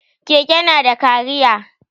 Keke yana da cariya.